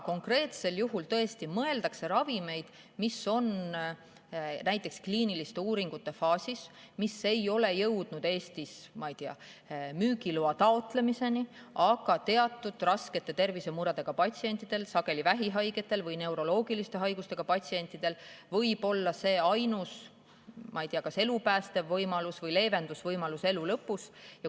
Konkreetsel juhul tõesti mõeldakse ravimeid, mis on näiteks kliiniliste uuringute faasis, mis ei ole jõudnud Eestis, ma ei tea, müügiloa taotlemiseni, aga teatud raskete tervisemuredega patsientidel, sageli vähihaigetel või neuroloogilise haigusega patsientidel, võib see olla ainus kas elupäästev võimalus või leevenduse võimalus elu lõpus.